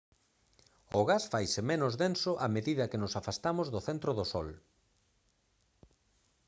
o gas faise menos denso a medida que nos afastamos do centro do sol